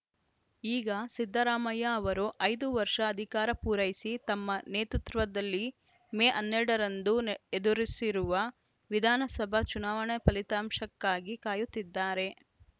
ಈಗ ಸಿದ್ದರಾಮಯ್ಯ ಅವರು ಐದು ವರ್ಷ ಅಧಿಕಾರ ಪೂರೈಸಿ ತಮ್ಮ ನೇತೃತ್ವದಲ್ಲಿ ಮೇ ಹನ್ನೆರಡ ರಂದು ಎದುರಿಸಿರುವ ವಿಧಾನಸಭಾ ಚುನಾವಣೆ ಫಲಿತಾಂಶಕ್ಕಾಗಿ ಕಾಯುತ್ತಿದ್ದಾರೆ